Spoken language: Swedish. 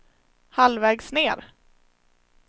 halvvägs ned